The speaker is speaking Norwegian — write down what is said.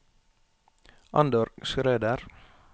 Andor Schrøder